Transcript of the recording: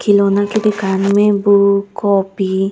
खिलौना के दुकान मे बुक कॉपी --